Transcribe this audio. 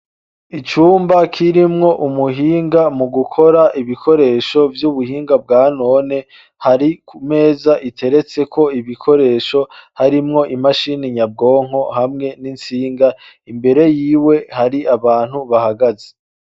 icumba kirimwo umuhinga mu gukora ibikoresho vy'ubuhinga bwa none hari ku meza iteretse ko ibikoresho harimwo imashini nyabwonko hamwe n'intsinga imbere yiwe hari abantu bahagaze